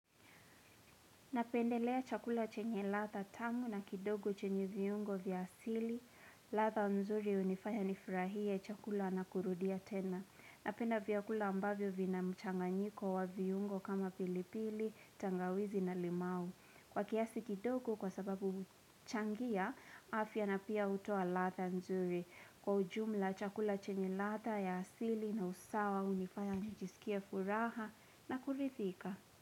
Napendelea chakula chenye latha tamu na kidogo chenye viyungo vya asili, latha mzuri unifaya nifurahie chakula anakurudia tena. Napenda viyakula ambavyo vina mchanganyiko wa viyungo kama pilipili, tangawizi na limau. Kwa kiasi kidogo kwa sababu mchangia, afya na pia utoa latha mzuri. Kwa ujumla chakula chenye latha ya asili na usawa unifaya nijisikia furaha na kulithika.